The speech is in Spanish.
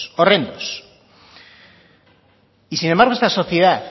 horrendos y sin embargo esta sociedad